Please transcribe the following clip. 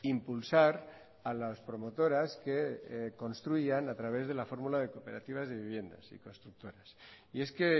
impulsar a las promotoras que construyan a través de la fórmula de cooperativas de viviendas y constructoras y es que